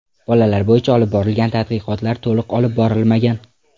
Bolalar bo‘yicha olib borilgan tadqiqotlar to‘liq olib borilmagan.